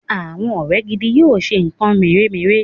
àwọ rẹ gìdìgbà yíò ṣe nkan mere-mere